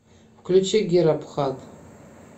включи гера пхат